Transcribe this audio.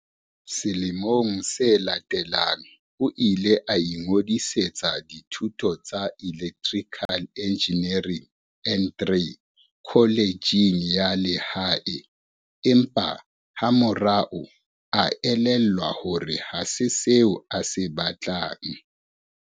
Selemong se latelang o ile a ingodisetsa dithuto tsa Electri cal Engineering N3 kholejeng ya lehae empa ha morao a elellwa hore ha se seo a se batlang.